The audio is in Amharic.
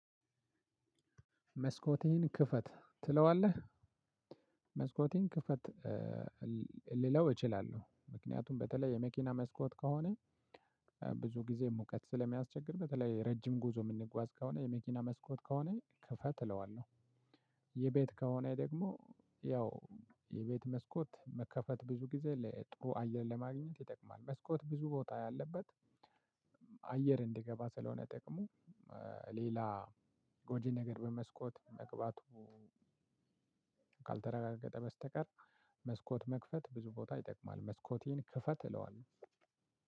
መስኮትህን ክፈት ትለዋለህ መስኮትህን ክፈት ልለው እችላለሁ። ምክንያቱም በተለይ የመኪና መስኮት ከሆነ ብዙ ጊዜ ሙቀት ስለሚያስቸግር በተለይ ረጅም ጉዞ የምንጓዝ ከሆነ የመኪና መስኮት ከሆነ ክፈት እለዋለሁ። የቤት ከሆነ ደግሞ ያው የቤት መስኮት መከፈት ብዙ ጊዜ ለጥሩ አየር ለማግኘት ይጠቅማል። መስኮት ብዙ ቦታ ያለበት አየር እንዲገባ ስለሆነ ጥቅሙ ሌላ ጎጂ ነገር በመስኮት መግባቱ ካልተረጋገጠ በስተቀር መስኮት መክፈት ብዙ ቦታ ይጠቅማል። መስኮትህን ክፈት እለዋለሁ።